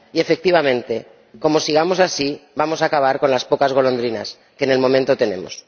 Y, efectivamente, como sigamos así, vamos a acabar con las pocas golondrinas que de momento tenemos.